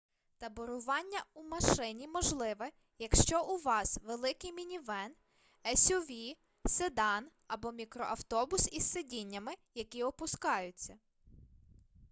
таборування в машині можливе якщо у вас великий мінівен есюві седан або мікроавтобус із сидіннями які опускаються